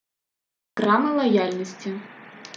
грамма лояльности